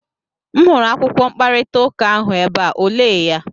M hụrụ akwụkwọ mkparịta ụka ahụ ebe a, o lee ya?